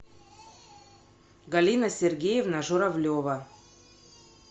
галина сергеевна журавлева